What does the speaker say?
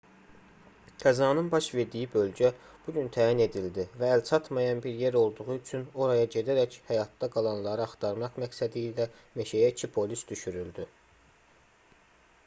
qəzanın baş verdiyi bölgə bu gün təyin edildi və əlçatmayan bir yer olduğu üçün oraya gedərək həyatda qalanları axtarmaq məqsədilə meşəyə 2 polis düşürüldü